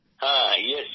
হ্যাঁইয়েস